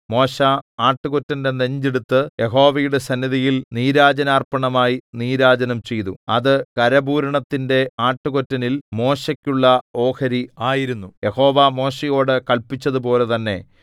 മോശെ ആട്ടുകൊറ്റന്റെ നെഞ്ച് എടുത്ത് യഹോവയുടെ സന്നിധിയിൽ നീരാജനാർപ്പണമായി നീരാജനം ചെയ്തു അത് കരപൂരണത്തിന്റെ ആട്ടുകൊറ്റനിൽ മോശെക്കുള്ള ഓഹരി ആയിരുന്നു യഹോവ മോശെയോടു കല്പിച്ചതുപോലെ തന്നെ